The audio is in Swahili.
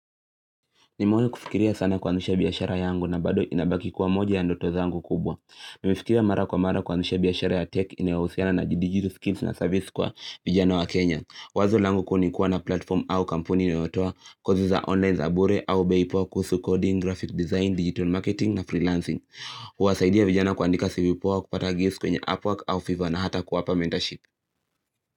Nimewai kufikiria sana kuanzisha biashara yangu na bado inabaki kwa moja ya ndoto zangu kubwa. Nimefikiria mara kwa mara kuanzisha biashara ya tech inayohusiana na bidii, skills na service kwa vijana wa Kenya. Wazo langu kuu nikuwa na platform au kampuni inayotoa kodi za online za bure au be poa kuhusu coding, graphic design, digital marketing na freelancing. Huwasaidia vijana kuandika cv poa kupata giz kwenye appwork au fiva na hata kuwapa mentorship.